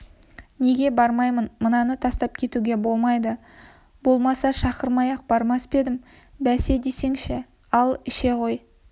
неге бармайын мынаны тастап кетуге болмайды болмаса шақырмай-ақ бармас па едім бәсе десеңші ал іше ғой